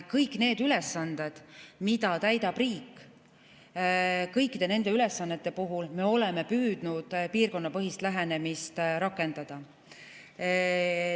Kõikide nende ülesannete puhul, mida täidab riik, oleme püüdnud piirkonnapõhist lähenemist rakendada.